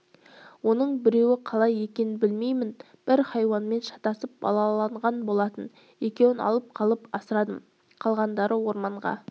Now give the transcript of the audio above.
оның біреуі қалай екенін білмеймін бір хайуанмен шатысып балалаған болатын екеуін алып қалып асырадым қалғандары орманға